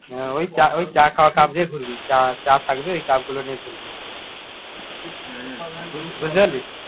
হ্যাঁ ওই ওই চা খাওয়া cup নিয়ে ঘুরবি চা চা থাকবে ওই cup গুলো নিয়ে ঘুরবি। বুঝতে পারলি?